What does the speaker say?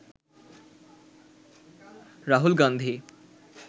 Rahul Gandhi